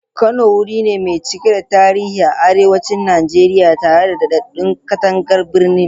Kano wuri ne mai cike da tarihi a arewacin Najeriya, tare da dadadden katangar birni.